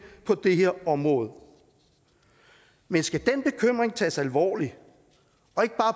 på det her område men skal den bekymring tages alvorligt